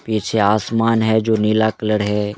पीछे आसमान है जो नीला कलर है।